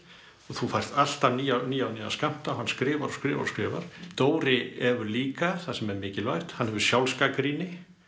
og þú færð alltaf nýja nýja og nýja skammta hann skrifar og skrifar og skrifar Dóri hefur líka það sem er mikilvægt hann hefur sjálfsgagnrýni